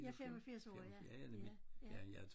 Jeg er 85 år ja ja ja